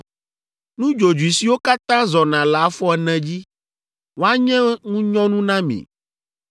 “ ‘Nudzodzoe siwo katã zɔna le afɔ ene dzi, woanye ŋunyɔnu na mi.